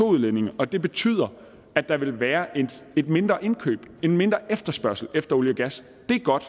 udledningen og det betyder at der vil være et mindre indkøb en mindre efterspørgsel efter olie og gas det er godt